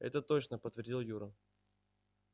это точно подтвердил юра